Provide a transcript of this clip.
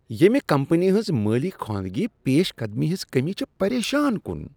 ییمِہ کمپنی ہنز مٲلی خواندگی پیش قدمی ہنز کمی چھ پریشان کن۔